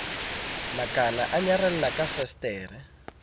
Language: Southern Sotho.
makana o nyarela ka fesetere